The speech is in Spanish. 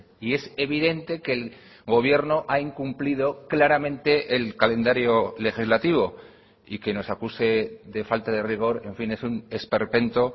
y es evidente que el gobierno ha incumplido claramente el calendario legislativo y que nos acuse de falta de rigor en fin es un esperpento